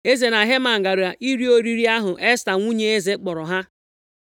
Eze na Heman gara iri oriri ahụ Esta nwunye eze kpọrọ ha,